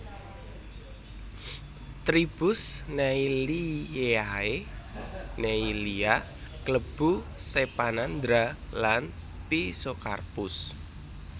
Tribus Neillieae Neillia klebu Stephanandra lan Physocarpus